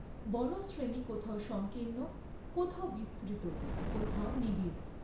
বনশ্রেণী কোথাও সঙ্কীর্ণ, কোথাও বিস্তৃত, কোথাও নিবিড়।